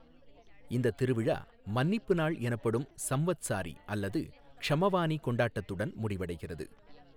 இந்தத் திருவிழா மன்னிப்பு நாள் எனப்படும் சம்வத்சாரி அல்லது க்ஷமவானி கொண்டாட்டத்துடன் முடிவடைகிறது.